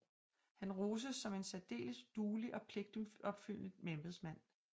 Han roses som en særdeles duelig og pligtopfyldende embedsmand